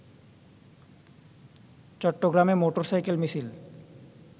চট্টগ্রামে মোটরসাইকেল মিছিল